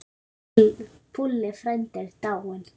Púlli frændi er dáinn.